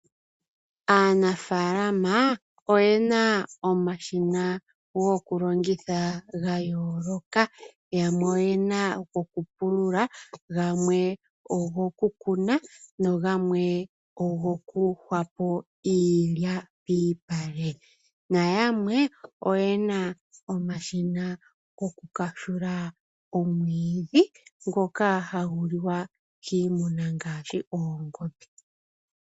Aanafaalama oyena omashina go kulongitha ga yooloka. Yamwe oyena go kupulula gamwe ogokukuna nogamwe ogoku hwapo iilya piipale na yamwe oyena omashina ko kumwa omwiidhi ngoka hagu liwa kiimuna ngaashi oongombe